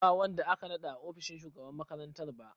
Ba wanda aka naɗa a ofishin shugaban makarantar ba.